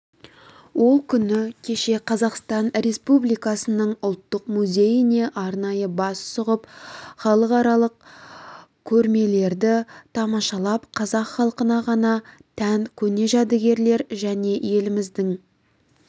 ол күні кеше қазақстан республикасының ұлттық музейіне арнайы бас сұғып халықаралық көрмелерді тамашалап қазақ халқына ғана тән көне жәдігерлер және еліміздің